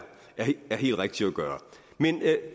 helt rigtigt at gøre men